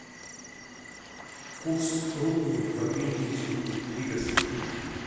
курс рупий в обменнике лиговский